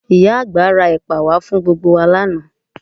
Ìyá àgbà ra ẹ̀pà wá fún gbogbo wa lánàá